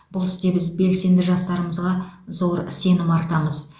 бұл істе біз белсенді жастарымызға зор сенім артамыз